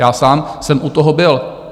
Já sám jsem u toho byl.